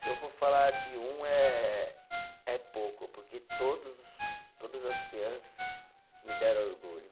Se eu for falar de um, é é pouco, porque todos todas as crianças me deram orgulho.